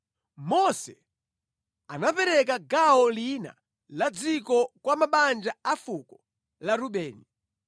Mose anapereka gawo lina la dziko kwa mabanja a fuko la Rubeni.